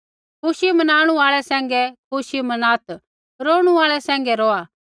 खुशी मनाणु आल़ै सैंघै खुशी मनात् रोणु आल़ै सैंघै रोआ